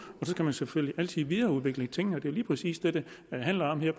så kan man selvfølgelig altid videreudvikle tingene det er lige præcis det det handler om her